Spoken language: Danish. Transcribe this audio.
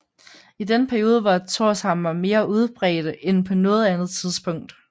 I denne periode var Thorshamre mere udbredte end på noget andet tidspunkt